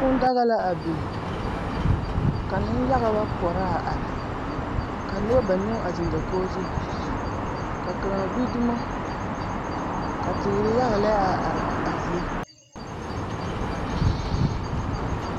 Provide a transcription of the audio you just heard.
Kuu daga la a biŋ ka nenyaga ba poɔrɔ a are ka noba banuu a zeŋ dakogi zu ka kaŋa gbi dumo ka teere yaga lɛ a are a zie.